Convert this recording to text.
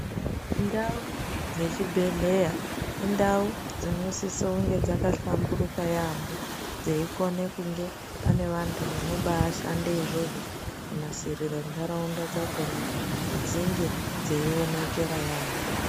Ndau dzechibhedhlera indau dzinosisa kunge dzakahlamburuka yaamho dzeikone kunge paine vanhu vanobashande izvozvo kana kunasirire ntaraunda dzakona kuti dzinge dzeionekera yaamho .